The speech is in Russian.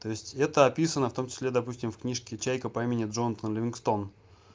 то есть это описано в том числе допустим в книжке чайка по имени джонатан ливингстон